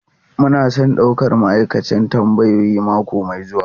Muna son daukar ma'aikacin tambayoyi mako mai zuwa.